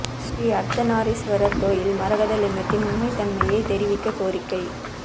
ஸ்ரீஅா்த்தநாரீஸ்வரா் கோயில் மரகத லிங்கத்தின் உண்மைத் தன்மையைத் தெரிவிக்கக் கோரிக்கை